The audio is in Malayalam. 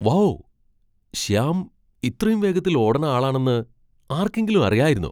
വൗ ! ശ്യാം ഇത്രയും വേഗത്തിൽ ഓടണ ആളാണെന്ന് ആർക്കെങ്കിലും അറിയായിരുന്നോ ?